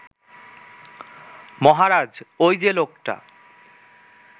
মহারাজ ঐ যে লোকটা